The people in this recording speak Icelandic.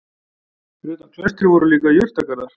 Fyrir utan klaustrið voru líka jurtagarðar.